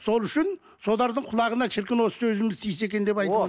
сол үшін солардың құлағына шіркін осы сөзіміз тисе екен деп айтып